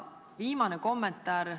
Ja viimane kommentaar.